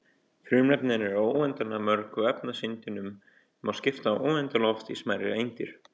Frumefnin eru óendanlega mörg og efniseindunum má skipta óendanlega oft í smærri eindir.